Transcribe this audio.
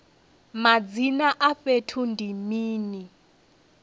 madzina a fhethu ndi mini